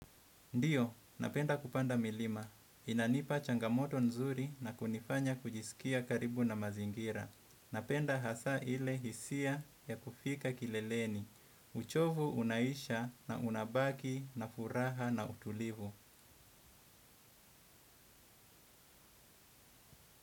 Ndio, napenda kupanda milima. Inanipa changamoto nzuri na kunifanya kujisikia karibu na mazingira. Napenda hasaa ile hisia ya kufika kileleni. Uchovu unaisha na unabaki na furaha na utulivu.